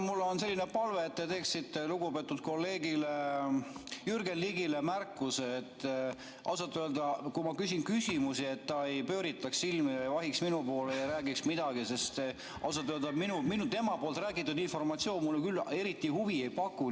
Mul on selline palve, et te teeksite lugupeetud kolleegile Jürgen Ligile märkuse, et kui ma küsin küsimusi, siis ta ei pööritaks silmi ega vahiks minu poole ja räägiks midagi, sest ausalt öeldes tema räägitud informatsioon mulle küll eriti huvi ei paku.